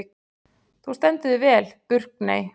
Þú stendur þig vel, Burkney!